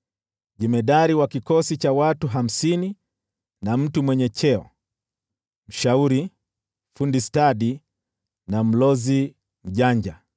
jemadari wa kikosi cha watu hamsini na mtu mwenye cheo, mshauri, fundi stadi na mlozi mjanja.